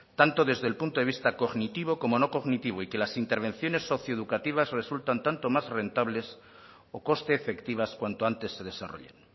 tanto desde el punto de vista cognitivo como no cognitivo y que las intervenciones socioeducativas resultan tanto o más rentables o coste efectivas cuanto antes se desarrollen